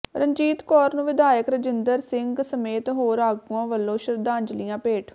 ਰਣਜੀਤ ਕੌਰ ਨੂੰ ਵਿਧਾਇਕ ਰਜਿੰਦਰ ਸਿੰਘ ਸਮੇਤ ਹੋਰ ਆਗੂਆਂ ਵਲੋਂ ਸ਼ਰਧਾਂਜਲੀਆਂ ਭੇਟ